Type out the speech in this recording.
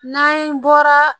N'an bɔra